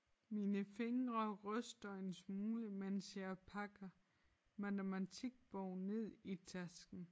Mine fingre ryster en smule mens jeg pakker matematikbogen ned i tasken